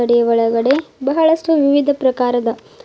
ಅಂಗಡಿಯ ಒಳಗಡೆ ಬಹಳಷ್ಟು ವಿವಿಧ ಪ್ರಕಾರದ.